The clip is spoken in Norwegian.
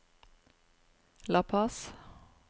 La Paz